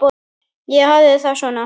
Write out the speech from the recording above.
Ég hafði það svona.